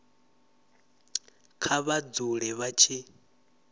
kha vha dzule vha tshi